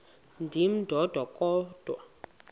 ndim ndodwa kodwa